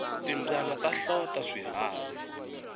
timbyana ta hlota swiharhi